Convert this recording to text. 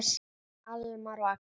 Almar og Agnes.